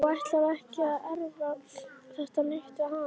Og ætlar ekkert að erfa þetta neitt við hann.